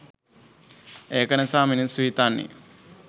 ඒක නිසා මිනිස්සු හිතන්නේ